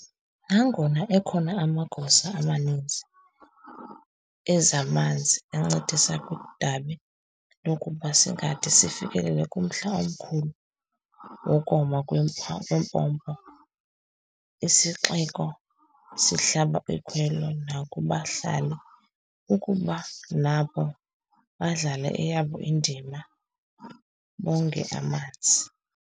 Nangona ekhona amagosa amaninzi ezamanzi ancedisa kwidabi lokuba singade sifikelele kumhl'omkhulu wokoma kweempompo, isixeko sihlaba ikhwelo nakubahlali ukuba nabo badlale eyabo indima, bonge amanzi.